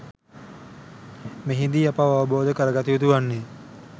මෙහිදී අප අවබෝධ කරගත යුතු වන්නේ